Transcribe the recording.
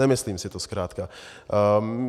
Nemyslím si to zkrátka.